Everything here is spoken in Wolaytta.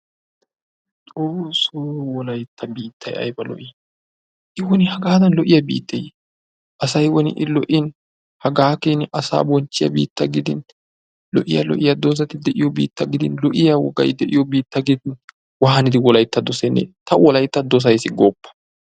Xoosso wolaytta biittay ayba lo"i! I woni hagaadan lo'iya biitteyee? Asay woni I lo'in hagaa keenaa asaa bonchchiya biittaa gidin lo'iya lo'iya doozati de'iyo biittaa gidin lo'iya wogay de'iyo biittaa gidin waanidi wolaytta dossenne ta wolaytta dossays gooppa!